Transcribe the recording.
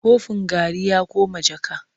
Kofin garri ya koma jaka.